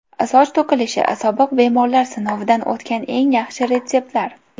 Soch to‘kilishi sobiq bemorlar sinovidan o‘tgan eng yaxshi retseptlar.